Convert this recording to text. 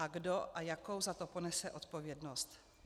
A kdo a jakou za to ponese odpovědnost?